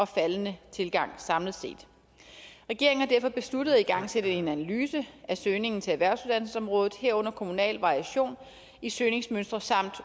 faldende tilgang samlet set regeringen har derfor besluttet at igangsætte en analyse af søgningen til erhvervsuddannelsesområdet herunder kommunal variation i søgningsmønstre samt